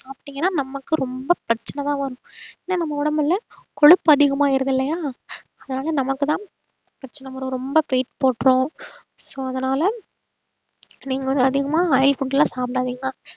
சாப்பிட்டீங்கன்னா நமக்கு ரொம்ப பிரச்சனைதான் வரும் ஏன்னா நம்ம உடம்புல கொழுப்பு அதிகமாயிருது இல்லையா அதனால நமக்குதான் பிரச்சனை வரும் ரொம்ப weight போட்டுரும் so அதனால நீங்க வந்து அதிகமா oil food எல்லாம் சாப்பிடாதீங்க